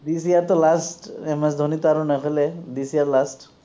this year টো last MS ধনিতো আৰু নেখেলে this year last